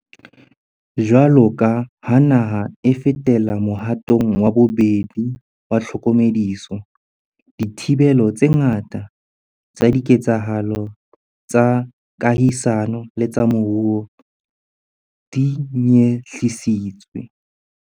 Jwaloka ha naha e fetela mohatong wa bobedi wa tlhokomediso, dithibelo tse ngata tsa diketsahalo tsa kahisano le tsa moruo di nyehlisitswe.